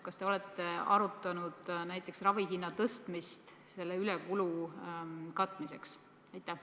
Kas te olete arutanud näiteks ravihinna tõstmist selle ülekulu katmiseks?